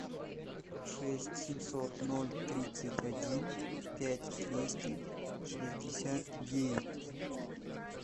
шесть семьсот ноль тридцать один пять двести шестьдесят девять